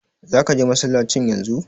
Zaka je masallacin yanzu?